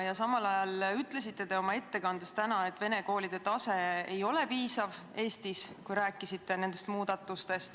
Ja samal ajal ütlesite täna oma ettekandes, kui rääkisite nendest muudatustest, et vene koolide tase Eestis ei ole piisav.